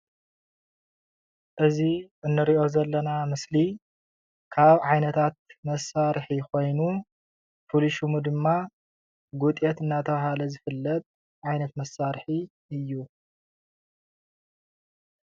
እዚ እንሪኦ ዘለና ምስሊ ካብ ዓይነታት መሳርሒ ኮይኑ ፍሉይ ሽሙ ድማ ጉጤት እንዳተበሃለ ዝፍለጥ ዓይነት መሳርሒ እዩ።